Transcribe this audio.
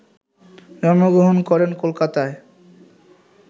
জন্মগ্রহণ করেন কলকাতায়